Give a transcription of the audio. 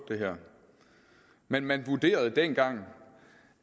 men man vurderede dengang